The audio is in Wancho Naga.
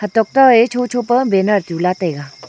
tok to e chocho pa banner tula taiga.